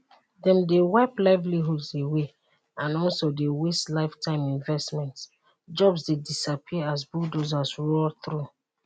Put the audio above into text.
dem dey wipe livelihoods away and also dey waste lifetime investments jobs dey disappear as bulldozers roar thru